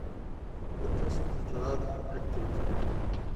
i tus cuntada thai agteyda